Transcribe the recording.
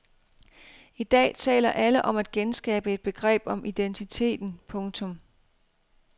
I dag taler alle om at genskabe et begreb om identiteten. punktum